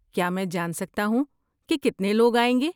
کیا میں جان سکتا ہوں کہ کتنے لوگ آئیں گے؟